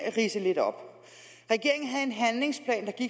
ridse lidt op regeringen havde en handlingsplan